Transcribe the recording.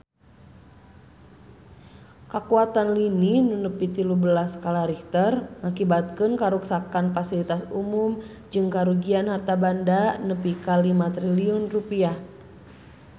Kakuatan lini nu nepi tilu belas skala Richter ngakibatkeun karuksakan pasilitas umum jeung karugian harta banda nepi ka 5 triliun rupiah